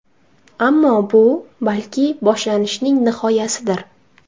Ammo bu, balki, boshlanishning nihoyasidir.